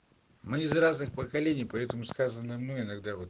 мы из разных поколений поэтому сказанное мною иногда вот